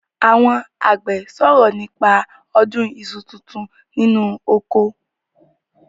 Àwon àgbẹ̀ sòrọ̀ nípa ọdún iṣu tuntun nínú oko.